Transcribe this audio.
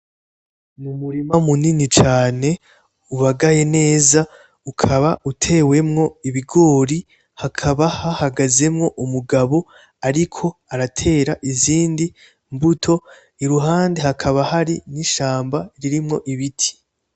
Umurima munini cane ubagaye neza, ukaba utewemwo ibigori, hakaba hahagazemwo umugabo ariko aratera izindi mbuto, iruhande hakaba hari n'ishamba ririmwo ibiti.